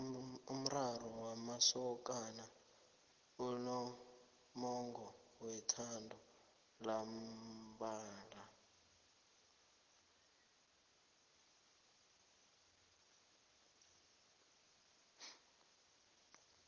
umraro wamasokana unomongo wethando lamambala